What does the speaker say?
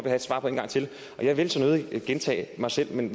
have svar på en gang til jeg vil så nødig gentage mig selv men